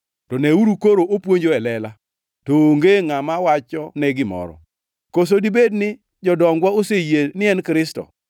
To neuru koro opuonjo e lela, to onge ngʼama wachone gimoro. Koso dibed ni jodongwa oseyie ni en Kristo?